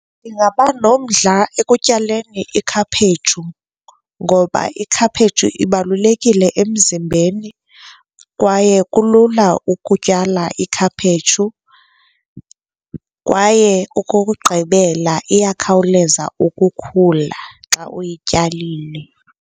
Ndingaba nomdla ekutyaleni ikhaphetshu, ngoba ikhaphetshu ibalulekile emzimbeni kwaye kulula ukutyala ikhaphetshu. Kwaye okokugqibela, iyakhawuleza ukukhula xa uyityalile.